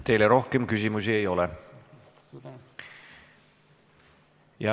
Teile rohkem küsimusi ei ole.